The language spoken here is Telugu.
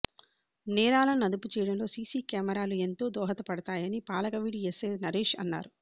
నేరాలను అదుపు చేయడంలో సీసీ కెమెరాలు ఎంతో దోహదపడతాయని పాలకవీడు ఎస్సై నరేష్ అన్నారు